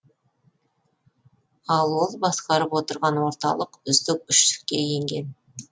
ал ол басқарып отырған орталық үздік үштікке енген